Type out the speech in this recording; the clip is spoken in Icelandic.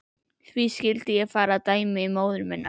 Hví skyldi ég fara að dæmi móður minnar?